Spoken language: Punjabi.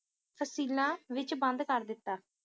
ਤਸ਼ੀਲਾਂ ਦੇ ਵਿੱਚ ਵੰਡ ਕਰ ਦਿੱਤਾ